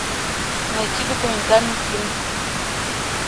найти документальный фильм